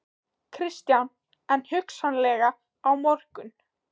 Kristján: En hugsanlega á morgun?